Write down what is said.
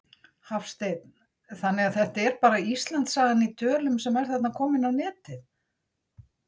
Hafsteinn: Þannig að þetta er bara Íslandssagan í tölum sem er þarna komin á netið?